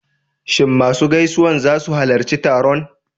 Shin masu gaisawan za su halarci taron?